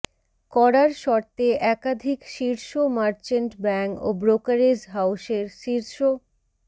করার শর্তে একাধিক শীর্ষ মার্চেন্ট ব্যাংক ও ব্রোকারেজ হাউসের শীর্ষ